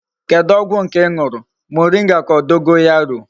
Kedu ogwu nke I nuru, moringa ka o dogorayo?